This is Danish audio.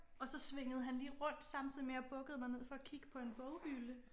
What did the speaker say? Og så svingede han lige rundt samtidig med jeg bukkede mig ned for at kigge på en boghylde